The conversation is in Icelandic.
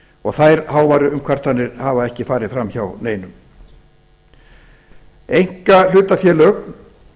og þær háværu umkvartanir hafa ekki farið fram hjá neinum einkahlutafélög